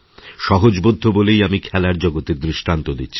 সহজবোধ্য বলেই আমি খেলার জগতের দৃষ্টান্ত দিচ্ছি